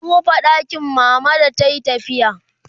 an rufe ɗakin mama da tayi tafiya